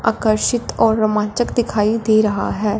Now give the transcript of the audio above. आकर्षित और रोमांचक दिखाई दे रहा है।